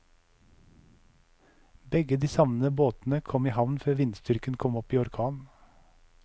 Begge de savnede båtene kom i havn før vindstyrken kom opp i orkan.